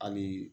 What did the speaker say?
Hali bi